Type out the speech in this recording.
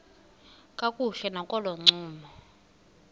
kakuhle nakolo ncumo